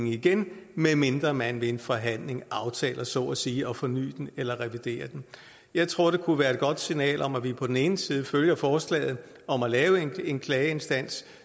igen medmindre man ved en forhandling aftaler så at sige at forny den eller revidere den jeg tror det kunne være et godt signal om at vi på den ene side følger forslaget om at lave en klageinstans